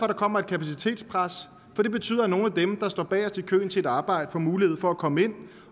der kommer et kapacitetspres for det betyder at nogle af dem der står bagest i køen til et arbejde får mulighed for at komme ind